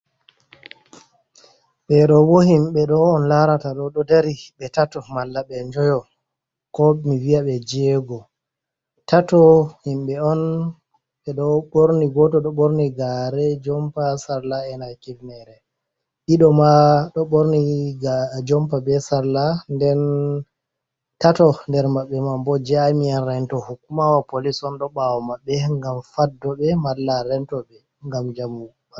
Ɓeɗo bo himɓɓe ɗo on larata ɗo ɗo dari ɓe tato malla ɓe njoyo ko mi viya ɓe jego, tato himɓɓe on ɓe ɗo ɓorni goto ɗo ɓorni gare, jompa, salla, ena kifnere, ɗiɗo ma ɗo ɓorni jompa, be salla, den tato nder maɓɓe mam bo jamiyan rento hukumawa polis on ɗo ɓawo maɓɓe ngam faddore ɓe ɓe malla rento ɓe ngam jamu.